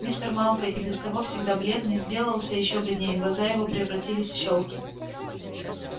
мистер малфой и без того всегда бледный сделался ещё бледнее глаза его превратились в щёлки